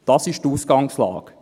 Das ist die Ausgangslage.